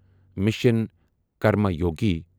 mission Karmayogi